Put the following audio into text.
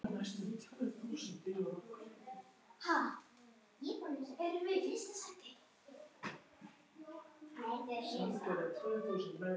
Lágkúra á lágkúru ofan.